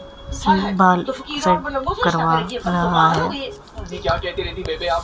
Set करवा रहा है।